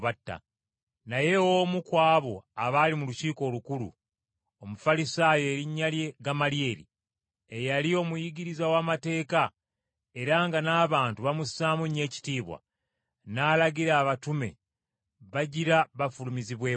Naye omu ku abo abaali mu Lukiiko Olukulu, Omufalisaayo erinnya lye Gamalyeri, eyali omunnyonnyozi w’amateeka era nga n’abantu bamussaamu nnyo ekitiibwa, n’alagira abatume bagira bafulumizibwa ebweru.